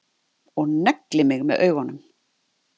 Og neglir mig með augunum.